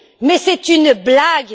Mais c'est une blague!